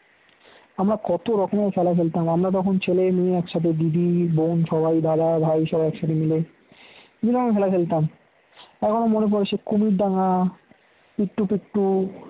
আমরা কত রকমের খেলা খেলতাম আমরা তখন ছেলে মেয়ে একসাথে দিদি বোন সবাই দাদাভাই একসাথে মিলে বিভিন্ন খেলা খেলতাম এখনো মনে পড়ে সেই কুমিরডাঙ্গা ইট্টু পিট্টু